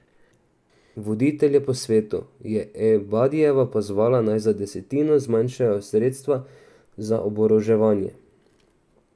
Voditelje po svetu je Ebadijeva pozvala, naj za desetino zmanjšajo sredstva za oboroževanje.